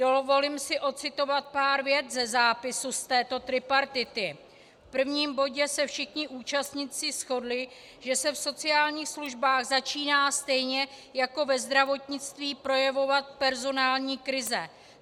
Dovolím si ocitovat pár vět ze zápisu z této tripartity: V prvním bodě se všichni účastníci shodli, že se v sociálních službách začíná stejně jako ve zdravotnictví projevovat personální krize.